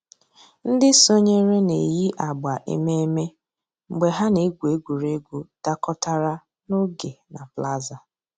Ǹdí sọǹyèrè nà-èyi àgbà emèmé́ mgbè hà nà-ègwù ègwè́ré́gwụ̀ dàkọ̀tàrà n'ògè nà plaza.